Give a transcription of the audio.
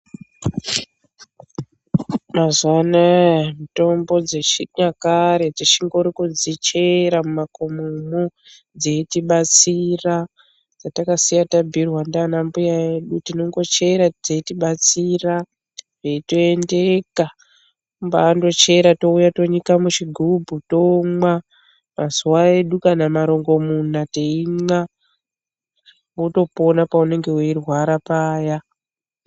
Mazuwa anaa mitombo dzechinyakare tichingori kudzichera mumakomomwo dzeitibatsira, dzatakasiya tabhuuirwa naanambya edu. Tinongochera dzeitibatsira, zveitoendeka. Kumbaandochera toouya tonyika muchigumbu. Tomwa mazuwa edu matatu kana marongomuna teimwa wotopona paunenge weirwara paya.